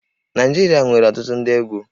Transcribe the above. Naịjirịa nwere ọtụtụ ndị egwú